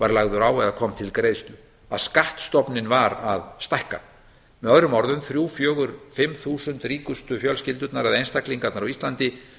var lagður á eða kom til greiðslu að skattstofninn var að stækka með öðrum orðum þrjú fjögur fimm þúsund ríkustu fjölskyldurnar eða einstaklingarnir á íslandi eru